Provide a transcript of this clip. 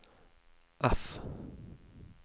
F